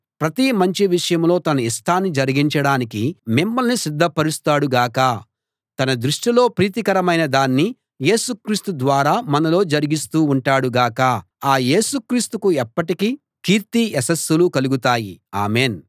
ప్రతి మంచి విషయంలో తన ఇష్టాన్ని జరిగించడానికి మిమ్మల్ని సిద్ధపరుస్తాడు గాక తన దృష్టిలో ప్రీతికరమైన దాన్ని యేసు క్రీస్తు ద్వారా మనలో జరిగిస్తూ ఉంటాడు గాక ఆ యేసు క్రీస్తుకు ఎప్పటికీ కీర్తి యశస్సులు కలుగుతాయి ఆమెన్